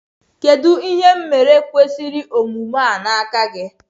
kedu ihe m mere kwesiri omume a n'aka gi?